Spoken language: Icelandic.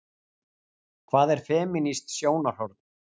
Hvað er femínískt sjónarhorn?